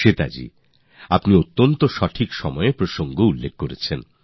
শ্বেতা জী আপনি অত্যন্ত সঠিক সময়ে এই বিষয়টি তুলেছেন